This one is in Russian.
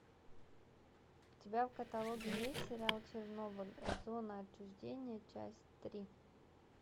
у тебя в каталоге есть сериал чернобыль зона отчуждения часть три